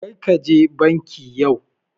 Karka je banki yau